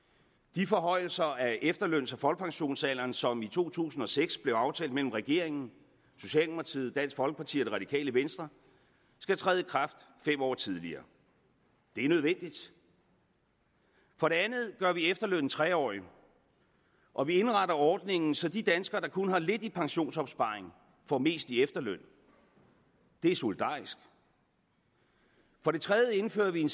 de forhøjelser af efterløns og folkepensionsalderen som i to tusind og seks blev aftalt mellem regeringen socialdemokratiet dansk folkeparti og det radikale venstre skal træde i kraft fem år tidligere det er nødvendigt for det andet gør vi efterlønnen tre årig og vi indretter ordningen så de danskere der kun har lidt i pensionsopsparing får mest i efterløn det er solidarisk for det tredje indfører vi en